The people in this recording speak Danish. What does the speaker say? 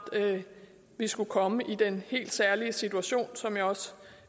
vi skulle komme i den helt særlige situation som jeg også